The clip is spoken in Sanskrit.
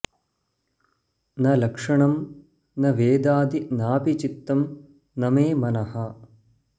न लक्षणं न वेदादि नापि चित्तं न मे मनः